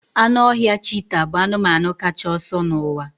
Anụ ọhịa cheeta bụ anụmanụ kacha ọsọ n'ụwa